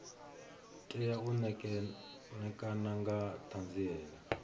tea u ṋekana nga ṱhanziela